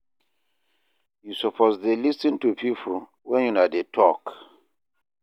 You suppose dey lis ten to pipo wen una dey tok.